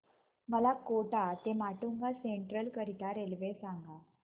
मला कोटा ते माटुंगा सेंट्रल करीता रेल्वे सांगा